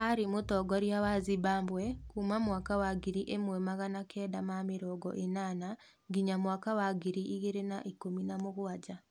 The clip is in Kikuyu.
Arĩ mũtongoria wa Zimbabwe kuma mwaka wa ngiri ĩmwe magana kenda ma mĩrongo ĩnana nginya mwaka wa ngiri igĩrĩ na ikũmi na mũgwanja.